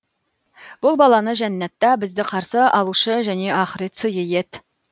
бұл баланы жәннатта бізді қарсы алушы және ақырет сыйы ет